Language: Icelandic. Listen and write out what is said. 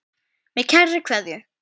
Með kærri kveðju.